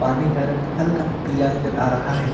पानी का रंग हल्का पिला नजर आ रहा है।